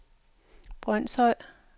Brønshøj